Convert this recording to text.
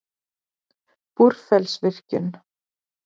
Búrfellsvirkjun